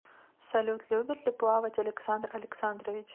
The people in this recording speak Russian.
салют любит ли плавать александр александрович